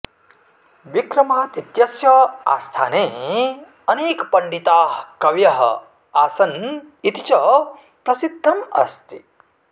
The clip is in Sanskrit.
विक्रमादित्यस्य आस्थाने अनेकपण्डिताः कवयः आसन् इति च प्रसिध्दम् अस्ति